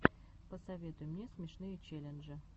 посоветуй мне смешные челленджи